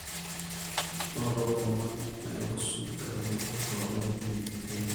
nooto lomon naihusu nkaitubulu too logeni le nkiremore